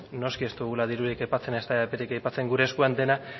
noski ez dugula dirurik aipatzen ezta eperik aipatzen gure eskuan dena